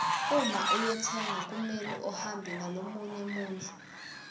uma uyotsenga kumele uhambe nalomunye muntfu